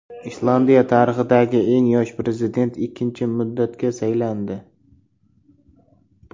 Islandiya tarixidagi eng yosh prezident ikkinchi muddatga saylandi.